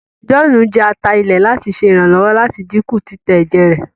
John jẹ atá ilé láti ṣe iranlọwọ láti dínkù titẹ èjè rẹ